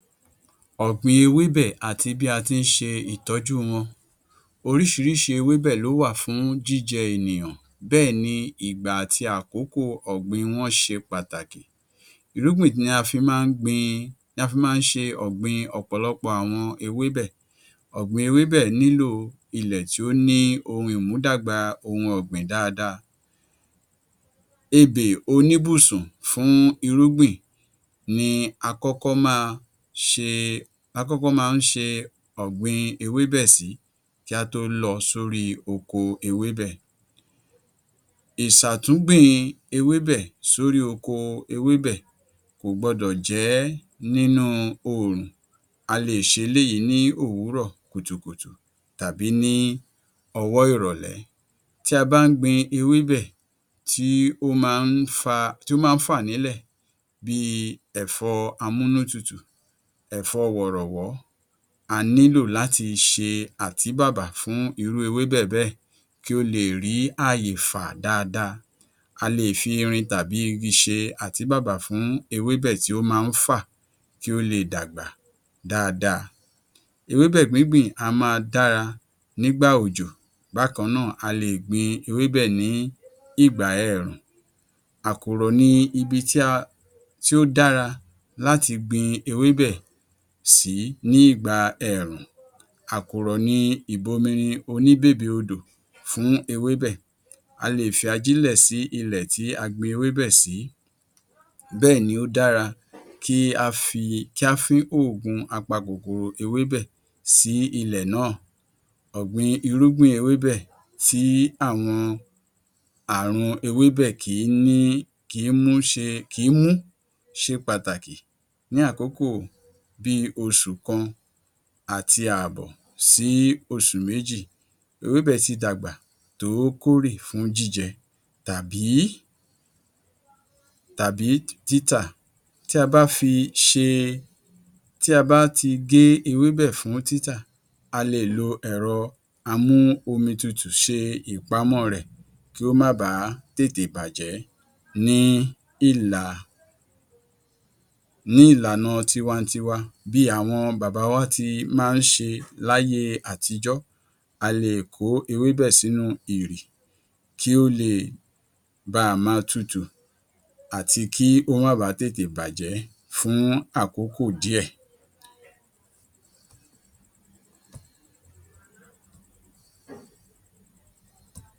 Ọ̀gbìn ewébẹ̀ àti bí a ti ń ṣe ìtọ́jú wọn Oríṣiríṣi ewébẹ̀ ló wà fún jíjẹ ènìyàn, bẹ́ẹ̀ ni ìgbà àti àkókò ọ̀gbìn wọn ṣe pàtàkì. Irúgbìn ni a fi máa ń gbin ni a fi máa ń ṣe ọ̀gbìn ọ̀pọ̀lọpọ̀ àwọn ewébẹ̀. Ọ̀gbìn ewébẹ̀ nílò ilẹ̀ tí ó ní ohun ìmúdàgbà ohun ọ̀gbìn dáadáa. Ebè oníbùsùn fún irúgbìn ni a kọ́kọ́ máa ṣe ni a kọ́kọ́ máa ń ṣe ọ̀gbìn ewébẹ̀ sí kí á tó lọ sórí oko ewébẹ̀. Ìsàtúgbìn ewébẹ̀ sórí oko ewébẹ̀ kò gbodò jẹ́ nínú oòrùn. A lè ṣe eléyìí ní ówùrọ́ọ̀ kùtùkùtù tàbí ní ọwọ́ ìrọ̀lẹ́. Tí a bá ń gbin ewébẹ̀ tí ó máa ń fa tí ó ma ń fà nílẹ̀ bíi ẹ̀fọ́ amúnútutù, ẹ̀fọ́ wọ̀rọ̀wọ́, a nílò láti ṣe àtíbàbà fún irú ewébẹ̀ bẹ́ẹ̀ kí ó leè rí àyè fà dáadáa. A lè fi irin tàbí igi ṣe àtíbàbà fún ewébẹ̀ tí ó máa ń fà kí ó leè dàgbà dáadáa. Ewébẹ̀ gbíngbìn á máa dára nígbà òjò, bákan náà a lè gbin ewébẹ̀ ní ìgbà ẹẹ̀rùn. Àkùrọ̀ ni ibi tí a tó dára láti gbin ewébẹ̀ sìí ní ìgbà ẹẹ̀rùn. Àkùrọ̀ ni ìbominrin oníbèbè odò fún ewébẹ̀. A lè fi ajílẹ̀ sí ilẹ̀ tí a gbin ewébẹ̀ sìí bẹ́ẹ̀ ni ó dára kí a fi kí á fín òògùn apakòkòrò ewébẹ̀ sí ilẹ̀ náà. Ọ̀gbìn irúgbìn ewébẹ̀ tí àwọn àrùn ewébẹ̀ kì í ní kì í mú ṣe kì í mú ṣe pàtàkì ní àkókò bíi oṣù kan àti ààbọ̀ sí oṣù méjì, ewébẹ̀ tí dàgbà tó kórè fún jíjẹ tàbí tàbí títà. Tí a bá fi ṣe tí a bá ti gé ewébẹ̀ fún títà a lè lo ẹ̀rọ amú-omi-tutù ṣe ìpamọ́ ọ rẹ̀ kí ó má bàá tètè bàjẹ́ ní ìlà ní ìlànà tiwa-n-tiwa. Bí àwọn bàbá wa ti máa ń ṣe láyé àtijọ́, a lè kó ewébẹ̀ sínú ìrì kí ó leè ba máa tutù àti kí ó má baà tètè bàjẹ́ fún àkókò díẹ̀.